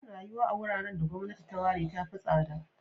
Yin da yuwa a wuraren da gwamnati ta ware ta fi tsada.